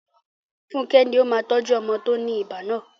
Funke ni ó máa tọ́jú ọmọ tó ní ibà náà..